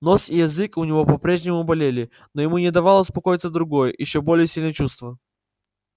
нос и язык у него по прежнему болели но ему не давало успокоиться другое ещё более сильное чувство